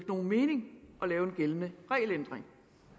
nogen mening at lave en gældende regelændring